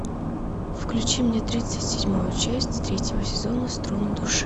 включи мне тридцать седьмую часть третьего сезона струны души